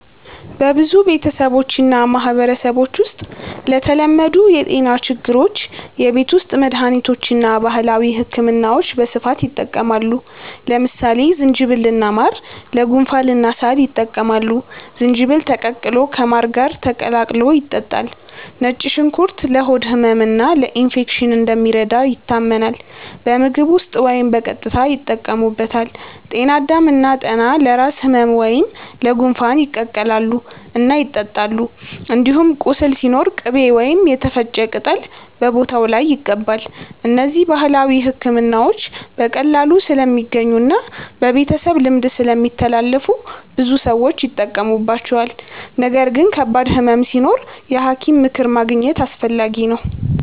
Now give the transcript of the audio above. በብዙ ቤተሰቦችና ማህበረሰቦች ውስጥ ለተለመዱ የጤና ችግሮች የቤት ውስጥ መድሃኒቶችና ባህላዊ ሕክምናዎች በስፋት ይጠቀማሉ። ለምሳሌ ዝንጅብልና ማር ለጉንፋንና ሳል ይጠቅማሉ፤ ዝንጅብል ተቀቅሎ ከማር ጋር ተቀላቅሎ ይጠጣል። ነጭ ሽንኩርት ለሆድ ህመምና ለኢንፌክሽን እንደሚረዳ ይታመናል፤ በምግብ ውስጥ ወይም በቀጥታ ይጠቀሙበታል። ጤና አዳም እና ጠና ለራስ ህመም ወይም ለጉንፋን ይቀቀላሉ እና ይጠጣሉ። እንዲሁም ቁስል ሲኖር ቅቤ ወይም የተፈጨ ቅጠል በቦታው ላይ ይቀባል። እነዚህ ባህላዊ ሕክምናዎች በቀላሉ ስለሚገኙና በቤተሰብ ልምድ ስለሚተላለፉ ብዙ ሰዎች ይጠቀሙባቸዋል። ነገር ግን ከባድ ህመም ሲኖር የሐኪም ምክር ማግኘት አስፈላጊ ነው።